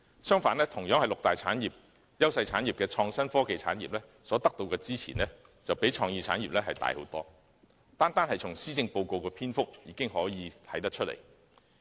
相反，同屬六大優勢產業的創新科技產業，所得到的支援較創意產業獲得的支援大得多，單從施政報告的篇幅已可見一斑。